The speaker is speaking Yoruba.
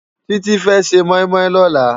Titi fè sé moimoi lòlá